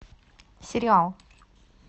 сериал